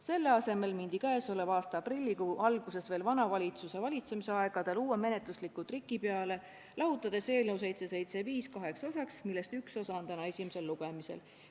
Selle asemel mindi käesoleva aasta aprillikuu alguses, veel vana valitsuse valitsemisaegadel, uue menetlusliku triki peale, lahutades eelnõu 775 kaheks osaks, millest üks on täna esimesel lugemisel.